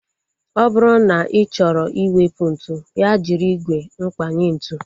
Ọ bụrụ na ị chọrọ iwepu ntụ, ya jiri ígwè mkpanye ntu